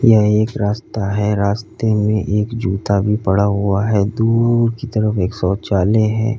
यह एक रास्ता है रास्ते में एक जूता भी पड़ा हुआ है दूर की तरफ एक शौचालय है।